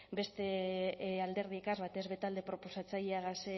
beste alderdigaz batez be talde proposatzaileagaz